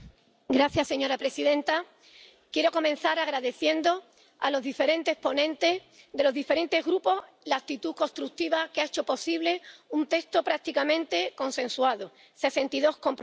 Señora presidenta, quiero comenzar agradeciendo a los diferentes ponentes de los diferentes grupos la actitud constructiva que ha hecho posible un texto prácticamente consensuado, con sesenta y dos compromisos.